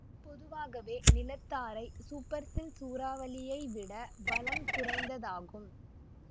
பொதுவாகவே நிலத்தாரை supercell சூறாவளியை விட பலம் குறைந்ததாகும்